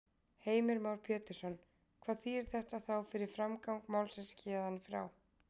Heimir Már Pétursson: Hvað þýðir þetta þá fyrir framgang málsins héðan í frá?